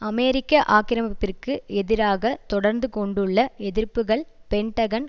அமெரிக்க ஆக்கிரமிப்பிற்கு எதிராக தொடர்ந்து கொண்டுள்ள எதிர்ப்புக்கள் பென்டகன்